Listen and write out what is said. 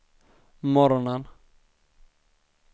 morgonen